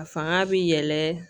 A fanga bɛ yɛlɛn